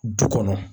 Du kɔnɔ